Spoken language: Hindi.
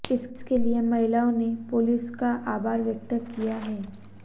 इसके लिए महिलाओं ने पुलिस का आभार व्यक्त किया है